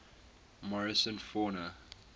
morrison fauna